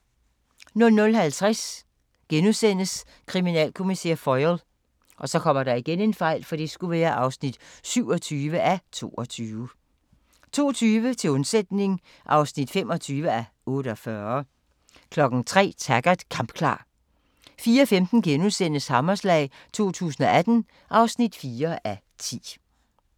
00:50: Kriminalkommissær Foyle (27:22)* 02:20: Til undsætning (25:48) 03:00: Taggart: Kampklar 04:15: Hammerslag 2018 (4:10)*